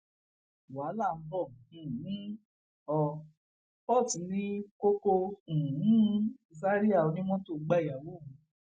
wàhálà ń bọ um ọ port ní kókó um zaria onímọtò gbàyàwó òun